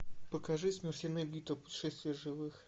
покажи смертельная битва путешествие живых